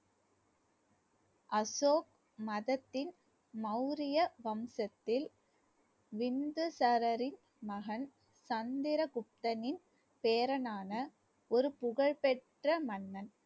அசோக் மதத்தின் மௌரிய வம்சத்தில் பிந்துசாரரின் மகன் சந்திரகுப்தனின் பேரனான ஒரு புகழ்பெற்ற மன்னன்